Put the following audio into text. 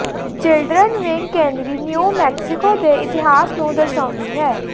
children wing ਕੇਂਦਰੀ New Mexico ਦੇ ਇਤਿਹਾਸ ਨੂੰ ਦਰਸਾਉਂਦੀ ਹੈ